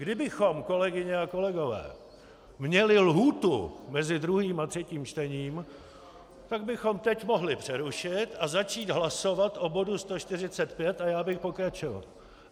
Kdybychom, kolegyně a kolegové, měli lhůtu mezi druhým a třetím čtením, tak bychom teď mohli přerušit a začít hlasovat o bodu 145 a já bych pokračoval.